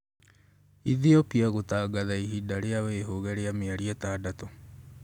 Ethiopia gũtangatha ihinda rĩa wĩhũge rĩa mĩeri ĩtandatũ